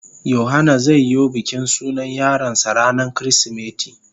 Yohana zai yo bikin sunan yaron sa ranan kirisimeti.